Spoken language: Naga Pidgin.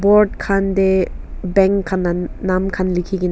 board khan te bank khan la nam khan likhi kena.